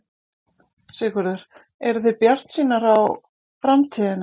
Sigurður: Eruð þið bjartsýnar á framtíðina?